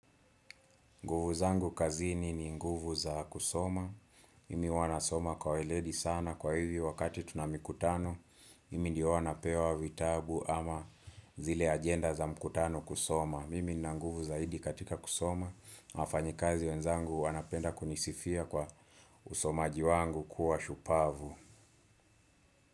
Nguvu zangu kazini ni nguvu za kusoma, mimi huwa wanasoma kwa weledi sana kwa hivyo wakati tuna mikutano, mimi ndio huwa napewa vitabu ama zile agenda za mkutano kusoma. Mimi nina nguvu zaidi katika kusoma, wafanyikazi wenzangu wanapenda kunisifia kwa usomaji wangu kuwa shupavu.